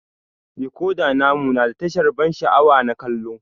Decoda namu na da tasha na ban sha'awa na kallo.